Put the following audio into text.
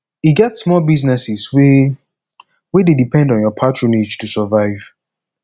e get small businesses wey wey dey depend on yur patronage to survive